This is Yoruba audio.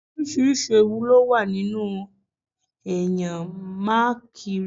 Oríṣiríṣi ewu ló wà nínú kí èèyàn máa kiri